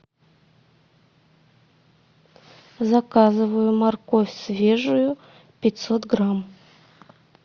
заказываю морковь свежую пятьсот грамм